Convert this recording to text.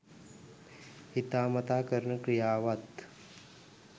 හිතාමතා කරන ක්‍රියාවත්